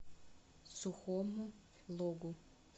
сухому логу